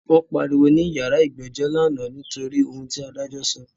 Wọ́n pariwo ní yàrá ìgbẹ́jọ́ lánàá nítorí ohun ti adájọ́ sọ.